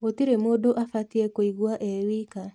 Gũtirĩ mũndũ abatie kũigwa e wika.